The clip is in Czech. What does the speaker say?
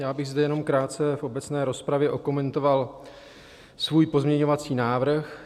Já bych zde jenom krátce v obecné rozpravě okomentoval svůj pozměňovací návrh.